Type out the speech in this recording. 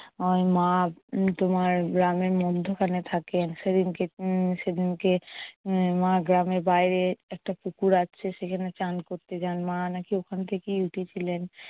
ওই মা তোমার গ্রামের মধ্যখানে থাকেন। সেদিনকে~ উম সেদিনকে উম মা গ্রামের বাইরে একটা পুকুর আছে সেখানে স্নান করতে জান, মা নাকি ওখান থেকেই উঠেছিলেন।